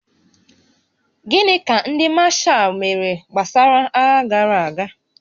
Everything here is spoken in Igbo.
Gịnị ka ndị mashaal mere gbasara agha gara aga?